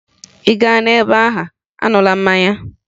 Ị gaa na be ha, aṅụla mmanya!